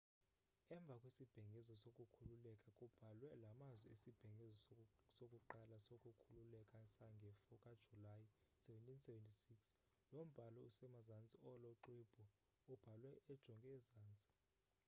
emva kwisibhengezo sokukhululeka kubhalwe la mazwi isibhengezo sokuqala sokukhululeka sange-4 kajulayi 1776 lo mbhalo usemazantsi olo xwebhu ubhalwe ujonge ezantsi